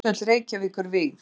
Sundhöll Reykjavíkur vígð.